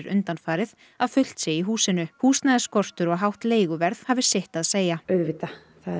undanfarið að fullt sé í húsinu húsnæðisskortur og hátt leiguverð hafi sitt að segja auðvitað